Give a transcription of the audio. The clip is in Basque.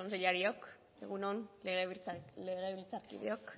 kontseilariok egun on legebiltzarkideok